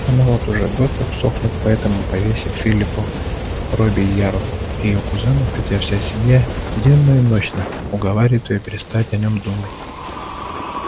она вот уже год как сохнет по этому повесе филиппу робийяру её кузену хотя вся семья денно и ночно уговаривает её перестать о нём думать